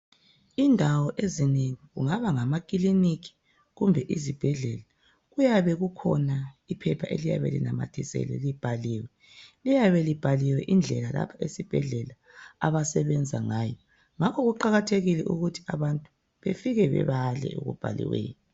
Indawo ezinengi kungaba ngama kiliniki kumbe izibhedlela kuyabe kukhona iphepha elinamathiselweyo libhaliwe liyabe libhaliwe indlela ezibhedlela abasebenza ngayo, ngakho kuqakathekile ukuthi abantu befike befike bebale okubhaliweyo.